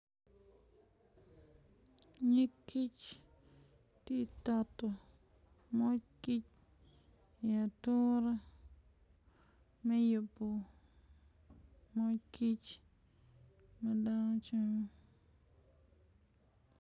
Nyig kic tye ka toto moc kic i ature me yubo moc kic ma dano camo.